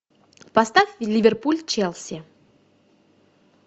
поставь ливерпуль челси